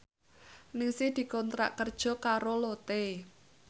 Ningsih dikontrak kerja karo Lotte